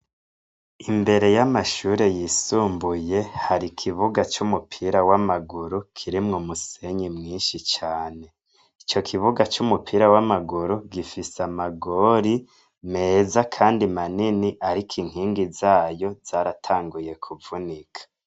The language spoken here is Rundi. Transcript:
Imbere y'amashure yisumbuye har'ikibuga c'umupira wamaguru kirimwo umusenyi mwinshi cane .Ico kibuga c'umupira w'amaguru gifise amagori meza kandi manini ariko inkingi zayo zaratanguye kuvunika.